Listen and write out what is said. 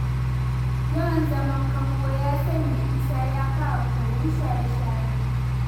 Yawan zaman kango ya sanya Isa ya fara koyon shaye-shaye.